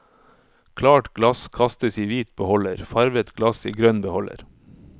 Klart glass kastes i hvit beholder, farvet glass i grønn beholder.